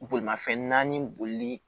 Bolimafɛn naani bolili